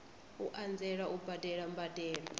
u anzela u badela mbadelo